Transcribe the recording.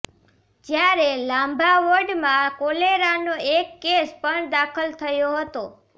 જ્યારે લાંભા વોર્ડમાં કોલેરાનો એક કેસ પણ દાખલ થયો હતો